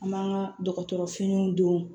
An b'an ka dɔgɔtɔrɔfiniw don